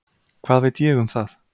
Hvað veit ég um það?